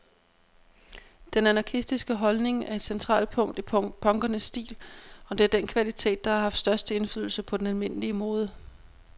Den anarkistiske holdning er et centralt punkt i punkernes stil, og det er den kvalitet, der har haft størst indflydelse på den almindelige mode.